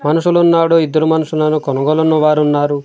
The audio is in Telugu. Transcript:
మనుషులున్నాడు ఇద్దరు మనుషులను కొనుగోలు ఉన్నవారు ఉన్నారు.